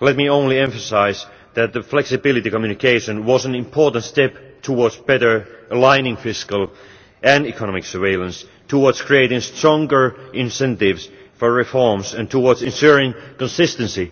let me only emphasise that the flexibility communication was an important step towards better aligning fiscal and economic surveillance, towards creating stronger incentives for reforms and towards ensuring consistency